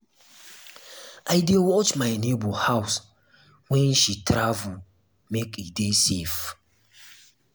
i dey watch my nebor house wen she travel make e dey safe.